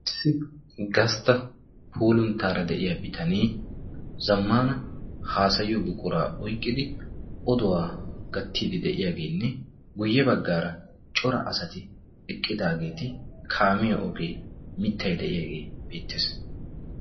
ss gastta poolunttaara de7iya bitanee zammana haasayiyo buquraa oiqqidi oduwaa gattiidi de7iyaageenne guyye baggaara cora asati eqqidaageeti kaamiyo ogee mittai de7iyaagee beettees